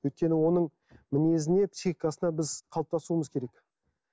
өйткені оның мінезіне психикасына біз қалыптасуымыз керек